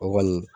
O kɔni